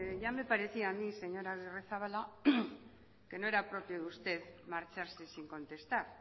ya me parecía a mí señor agirrezabala que no era propio de usted marcharse sin contestar